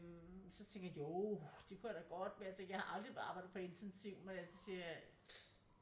Så tænkte jeg jo det kunne jeg da godt men jeg tænkte jeg har aldrig arbejdet på intensiv men altså så siger jeg